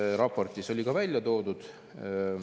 Siin raportis oli ka välja toodud …